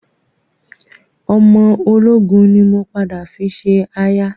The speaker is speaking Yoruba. Ọmọ ológun ni mo padà fi ṣe aya